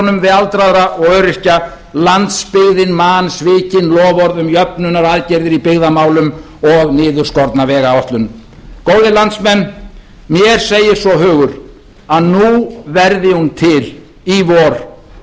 við aldraða og öryrkja landsbyggðin man svikin loforð um jöfnunaraðgerðir í byggðamálum og niðurskorna vegáætlun góðir landsmenn mér segir svo hugur að nú verði hún til í vor